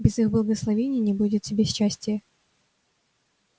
без их благословения не будет тебе счастия